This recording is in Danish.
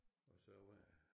Og så var